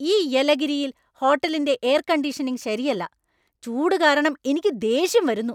ഈ യെലഗിരിയിൽ ഹോട്ടലിന്‍റെ എയർ കണ്ടീഷനിംഗ് ശരിയല്ലാ. ചൂട് കാരണം എനിക്ക് ദേഷ്യം വരുന്നു.